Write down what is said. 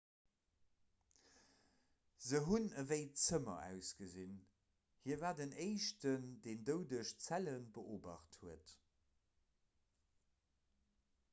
se hunn ewéi zëmmer ausgesinn hie war den éischten deen doudeg zelle beobacht huet